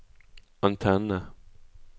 antenne